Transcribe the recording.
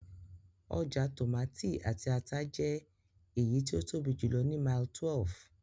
Ọjà tòmátì àti ata jẹ́ èyí tí ó tóbi jùlọ ní Mile 12